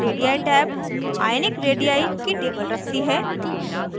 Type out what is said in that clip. radii tab ionic radii की table रखती है